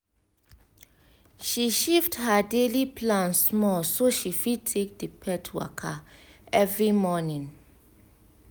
she shift her daily plan small so she fit take the pet waka every morning